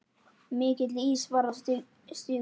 Mikill ís var á stígum.